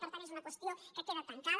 per tant és una qüestió que queda tancada